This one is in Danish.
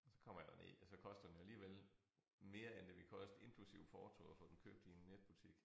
Og så kommer jeg derned og så koster den jo alligevel mere end det ville koste inklusiv porto at få den købt i en netbutik